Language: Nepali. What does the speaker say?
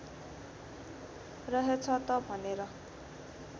रहेछ त भनेर